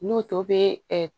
N'o to be ɛ